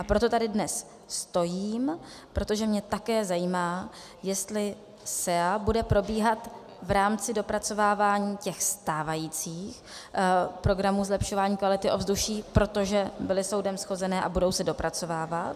A proto tady dnes stojím, protože mě také zajímá, jestli SEA bude probíhat v rámci dopracovávání těch stávajících programů zlepšování kvality ovzduší, protože byly soudem shozené a budou se dopracovávat.